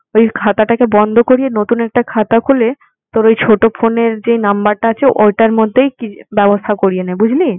ওই খাতাটাকে বন্ধ করিয়ে নতুন একটা খাতা খুলে তোর ওই ছোট phone এর যে number টা আছে ওইটার মধ্যেই কি~ ব্যবস্থা করিয়ে নে। বুঝলি?